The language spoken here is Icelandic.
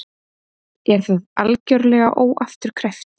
Er það algjörlega óafturkræft?